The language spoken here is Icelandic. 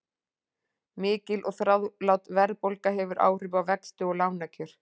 Mikil og þrálát verðbólga hefur áhrif á vexti og lánakjör.